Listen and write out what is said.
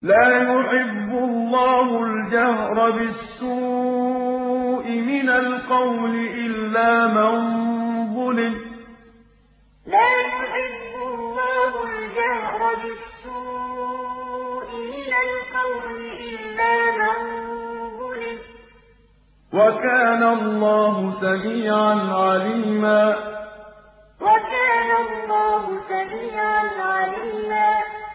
۞ لَّا يُحِبُّ اللَّهُ الْجَهْرَ بِالسُّوءِ مِنَ الْقَوْلِ إِلَّا مَن ظُلِمَ ۚ وَكَانَ اللَّهُ سَمِيعًا عَلِيمًا ۞ لَّا يُحِبُّ اللَّهُ الْجَهْرَ بِالسُّوءِ مِنَ الْقَوْلِ إِلَّا مَن ظُلِمَ ۚ وَكَانَ اللَّهُ سَمِيعًا عَلِيمًا